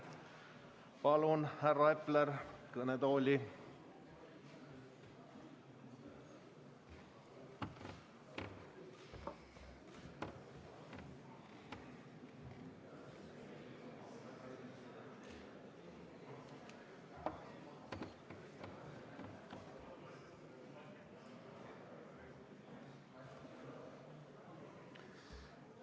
Palun, härra Epler, kõnetooli!